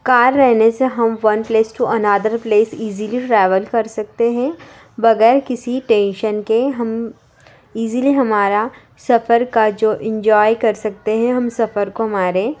Car रहने से हम one place to another place easily travel कर सकते है बगैर किसी टेंशन के हम ईजीली हमारा सफर का जो इंजॉय कर सकते हैं। हम सफ़र को हमारे --